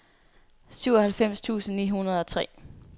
syvoghalvfems tusind ni hundrede og tre